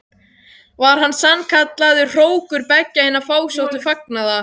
Var hann sannkallaður hrókur beggja hinna fásóttu fagnaða.